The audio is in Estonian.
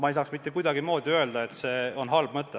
Ma ei saaks mitte kuidagimoodi öelda, et see on halb mõte.